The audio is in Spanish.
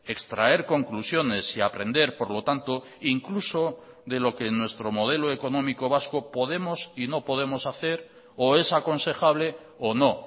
extraer conclusiones y aprender por lo tanto incluso de lo que en nuestro modelo económico vasco podemos y no podemos hacer o es aconsejable o no